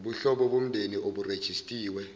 ubuhlobo bomndeni oburejistiwe